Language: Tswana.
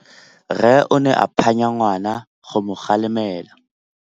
Rre o ne a phanya ngwana go mo galemela.